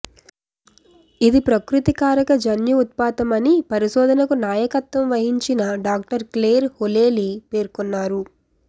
ఇది ప్రకృతి కారక జన్యు ఉత్పాతం అని పరిశోధనకు నాయకత్వం వహించిన డాక్టర్ క్లేర్ హోలెలీ పేర్కొన్నారు